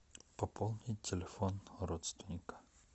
пополнить телефон родственника